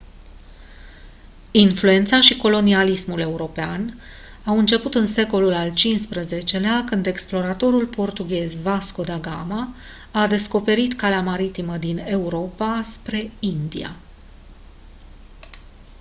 influența și colonialismul european au început în secolul al xv-lea când exploratorul portughez vasco da gama a descoperit calea maritimă din europa spre india